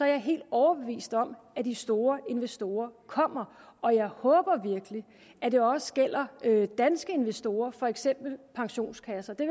jeg helt overbevist om at de store investorer kommer og jeg håber virkelig at det også gælder danske investorer for eksempel pensionskasser det